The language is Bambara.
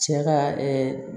Cɛ ka